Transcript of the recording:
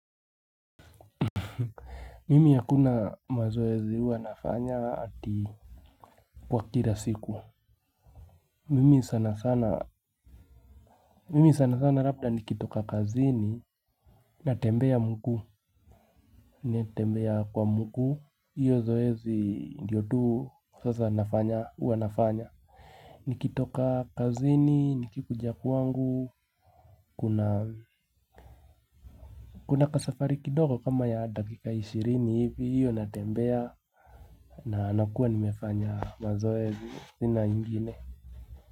Mimi hakuna mazoezi huwa nafanya ati kwa kila siku. Mimi sana sana labda nikitoka kazini. Natembea mguu. Natembea kwa mguu. Hiyo zoezi ndiyo tu sasa huwa nafanya. Nikitoka kazini, nikikuja kwangu. Kuna kasafari kidogo kama ya dakika ishirini hivi. Hiyo natembea na nakua nimefanya mazoezi. Sina ingine.